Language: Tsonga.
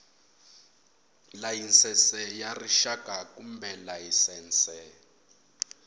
layisense ya rixaka kumbe layisense